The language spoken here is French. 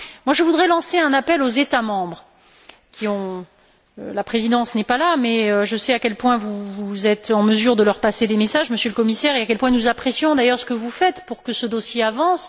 Je voudrais lancer un appel aux États membres la Présidence n'est pas là, mais je sais à quel point vous êtes en mesure de leur passer des messages, Monsieur le Commissaire, et à quel point nous apprécions d'ailleurs ce que vous faites pour que ce dossier avance.